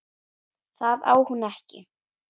Það á hún ekki.